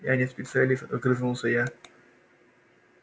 я не специалист огрызнулся я